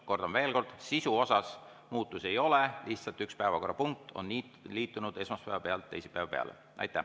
Kordan veel kord: sisus muutusi ei ole, lihtsalt üks päevakorrapunkt on liikunud esmaspäeva pealt teisipäeva peale.